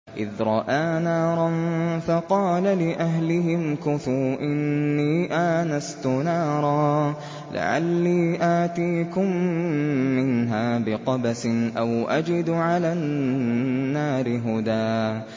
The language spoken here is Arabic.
إِذْ رَأَىٰ نَارًا فَقَالَ لِأَهْلِهِ امْكُثُوا إِنِّي آنَسْتُ نَارًا لَّعَلِّي آتِيكُم مِّنْهَا بِقَبَسٍ أَوْ أَجِدُ عَلَى النَّارِ هُدًى